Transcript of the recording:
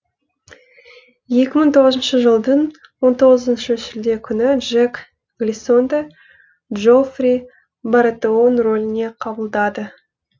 екі мың тоғызыншы жылдың он тоғызыншы шілде күні джек глисонды джоффри баратеон рөліне қабылдады